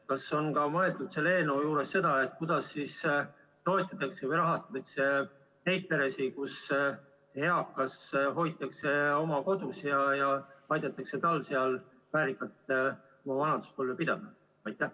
Kas on mõeldud selle eelnõu puhul ka sellele, kuidas toetada või rahastada neid peresid, kus eakas hoitakse oma kodus ja aidatakse tal seal väärikalt oma vanaduspõlve pidada?